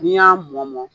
N'i y'a mɔ mɔ